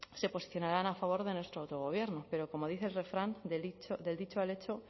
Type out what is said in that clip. se posicionarán a favor de nuestro autogobierno pero como dice el refrán del dicho al hecho